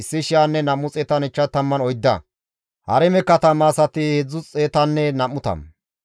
Xoossa Keeththan yexxiza Aasaafe zereththati 128,